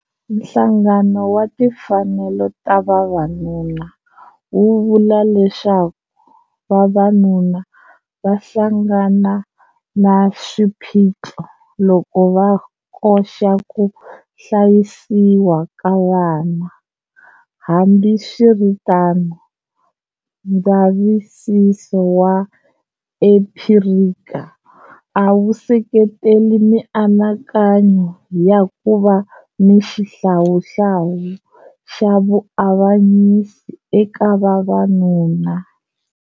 Nhlangano wa timfanelo ta vavanuna wu vula leswaku vavanuna va hlangana na swiphiqo loko va koxa ku hlayisiwa ka vana, hambiswiritano, ndzavisiso wa empirical a wu seketeli mianakanyo ya ku va na xihlawuhlawu xa vuavanyisi eka vavanuna.